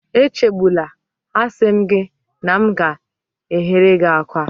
Echegbula, a sị m gị na m ga-eghere gị akwa